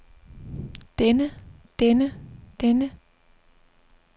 denne denne denne